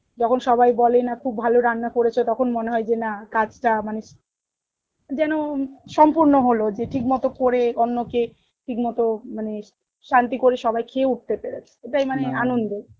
যখন সবাই বলে না খুব ভালো রান্না করেছ তখন মনে হই যে না কাজ টা মানে, যেন সম্পূর্ণ হলো যে ঠিক মত করে অন্য কে ঠিক মত মানে শান্তি করে সবাই খেয়ে উঠতে পেরেছে ওটাই মানে